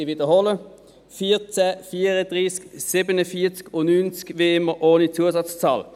Ich wiederhole: 14, 34, 47 und 90, wie immer ohne Zusatzzahl.